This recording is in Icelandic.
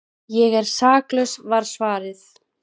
Ég er saklaus var svarið.